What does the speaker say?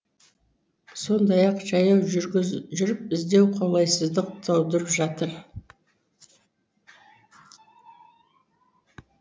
сондай ақ жаяу жүріп іздеу қолайсыздық тудырып жатыр